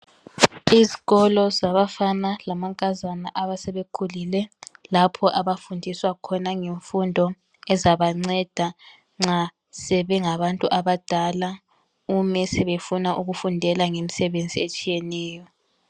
Esikolo sabafana lamankazana abayabe sebekhulile lapho abafundiswa khona ngemfundo ezabanceda nxa sengabantu abadala uma befuna ukufundela imisebenzi.